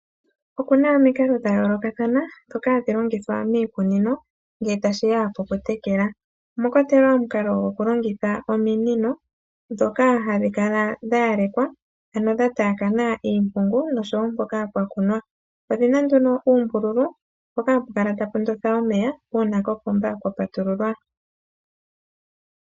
Oku na omikalo dha yoolokathana ndhoka hadhi longithwa miikunino ngele tashi ya pokutekela. Omwa kwatelwa omukalo gokulongitha ominino ndhoka hadhi kala dha yalekwa, ano dha taakana iimpungu nosho wo mpoka pwa kunwa. Odhi na nduno uumbululu mpoka hapu kala tapu ndotha omeya uuna kopomba kwa patululwa.